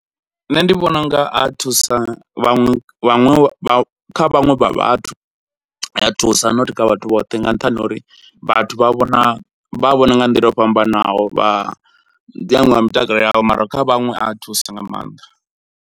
Nṋe ndi vhona unga a thusa vhaṅwe vhaṅwe vha kha vhaṅwe vha vhathu a ya thusa not kha vhathu vhoṱhe nga nṱhani ho uri vhathu vha vhona vha a vhona nga nḓila yo fhambanaho mitakalo yavho, mara kha vhaṅwe a ya thusa nga mannḓa.